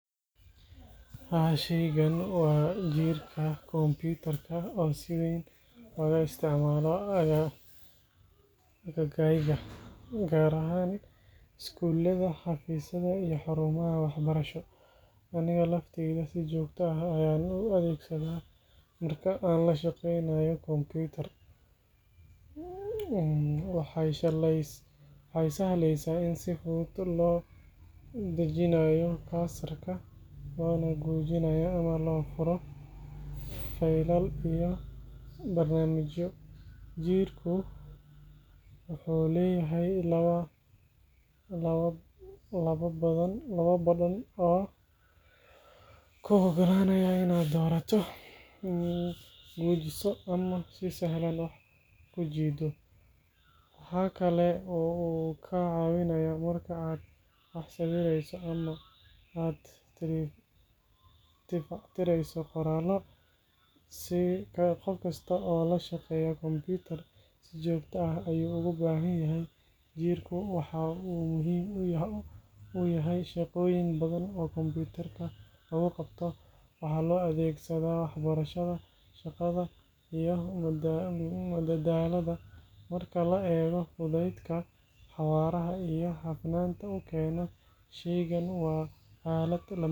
Haa, shaygan waa jiirka kumbuyuutarka oo si weyn looga isticmaalo agaggayga, gaar ahaan iskuullada, xafiisyada iyo xarumaha waxbarasho. Aniga laftayda si joogto ah ayaan u adeegsadaa marka aan la shaqeynayo kombiyuutar. Waxay sahlaysaa in si fudud loo dhaqaajiyo cursor-ka, loona gujiyo ama loo furo faylal iyo barnaamijyo. Jiirku wuxuu leeyahay laba badhan oo kuu oggolaanaya inaad doorato, gujiso ama si sahlan wax u kala jiiddo. Waxa kale oo uu kaa caawinayaa marka aad wax sawirayso ama aad tifatirayso qoraallo. Qof kasta oo la shaqeeya kombiyuutar si joogto ah ayuu ugu baahan yahay. Jiirku waxa uu muhiim u yahay shaqooyin badan oo kombuyuutarka lagu qabto, waxaana loo adeegsadaa waxbarashada, shaqada, iyo madadaalada. Marka la eego fudaydka, xawaaraha iyo hufnaanta uu keeno, shaygan waa aalad lama huraan ah.